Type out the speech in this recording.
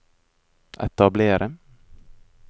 etablere